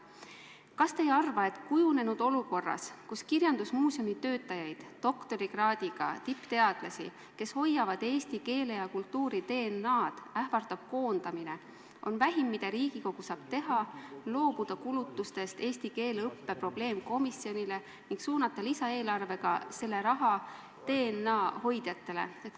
Kas te ei arva, et kujunenud olukorras, kus kirjandusmuuseumi töötajaid, doktorikraadiga tippteadlasi, kes hoiavad eesti keele ja kultuuri DNA-d, ähvardab koondamine, on vähim, mida Riigikogu saab teha, loobuda kulutustest eesti keele õppe probleemkomisjonile ning suunata lisaeelarvega selle raha meie kultuuri DNA hoidjatele?